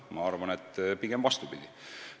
Ma arvan, et pigem vastupidi.